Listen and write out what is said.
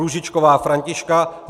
Růžičková Františka